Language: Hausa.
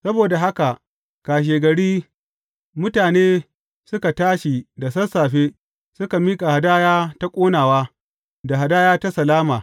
Saboda haka kashegari, mutane suka tashi da sassafe suka miƙa hadaya ta ƙonawa, da hadaya ta salama.